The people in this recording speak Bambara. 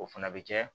O fana bɛ kɛ